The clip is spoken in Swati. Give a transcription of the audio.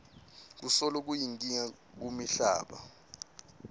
kusolo kuyinkinga kumihlaba